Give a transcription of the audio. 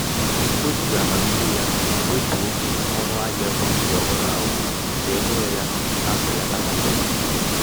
o jiri amamihe ya kwetuo onu ahia ekwentị ọhụrụ ahụ ka e nye ya mbelata pasentị iri